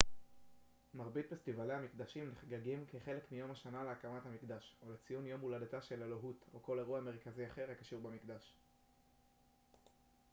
מרבית פסטיבלי המקדשים נחגגים כחלק מיום השנה להקמת המקדש או לציון יום הולדתה של אלוהות או כל אירוע מרכזי אחר הקשור במקדש